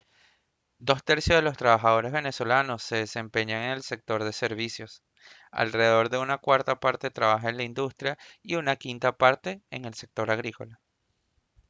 dos tercios de los trabajadores venezolanos se desempeñan en el sector de servicios alrededor de una cuarta parte trabaja en la industria y una quinta parte en el sector agrícola